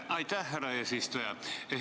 Aitäh, härra eesistuja!